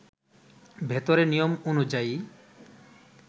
ভেতরে নিয়ম অনুযায়ী